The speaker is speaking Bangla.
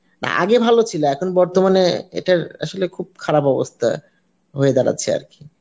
অ্যাঁ আগে ভালো ছিল এখন বর্তমানে এটার আসলে খুব খারাপ অবস্থা হয়ে দাঁড়াচ্ছে আরকি